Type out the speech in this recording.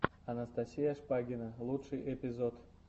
анастасия шпагина лучший эпизод